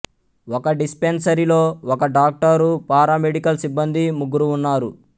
ఒక డిస్పెన్సరీలో ఒక డాక్టరు పారామెడికల్ సిబ్బంది ముగ్గురు ఉన్నారు